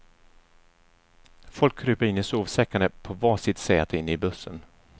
Folk kryper in i sovsäckarna på var sitt säte inne i bussen.